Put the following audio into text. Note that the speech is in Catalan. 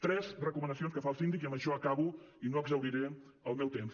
tres recomanacions que fa el síndic i amb això acabo i no exhauriré el meu temps